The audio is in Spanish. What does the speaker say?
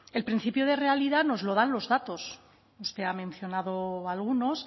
el principio de realidad nos lo dan los datos usted ha mencionado algunos